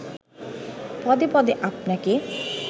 পদে পদে আপনাকে